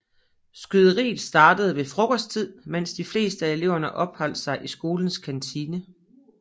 Skyderiet startede ved frokosttid mens de fleste af eleverne opholdt sig i skolens kantine